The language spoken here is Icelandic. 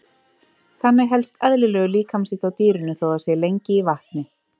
Þannig helst eðlilegur líkamshiti á dýrinu þó það sé lengi í vatni.